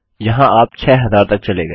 वहाँ आप 6000 तक चले गए